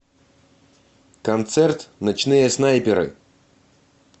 концерт ночные снайперы